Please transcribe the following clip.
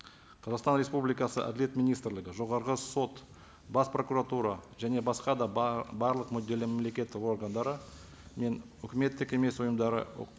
қазақстан республикасы әділет министрлігі жоғарғы сот бас прокуратура және басқа да барлық мүдделі мемлекеттік органдары мен өкіметтік емес ұйымдары